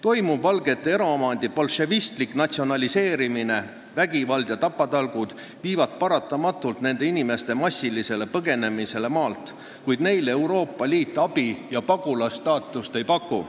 Toimuv valgete eraomandi bolševistlik natsionaliseerimine, vägivald ja tapatalgud viivad paratamatult nende inimeste massilisele põgenemisele maalt, kuid neile Euroopa Liit abi ja pagulase staatust ei paku.